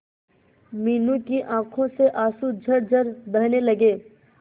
मीनू की आंखों से आंसू झरझर बहने लगे